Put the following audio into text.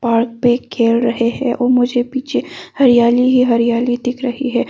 Park पे खेल रहे हैं और मुझे पीछे हरियाली ही हरियाली दिख रही है।